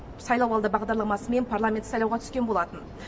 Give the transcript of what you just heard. сайлауалды бағдарламасымен парламенттік сайлауға түскен болатын